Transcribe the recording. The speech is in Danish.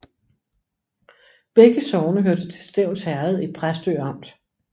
Begge sogne hørte til Stevns Herred i Præstø Amt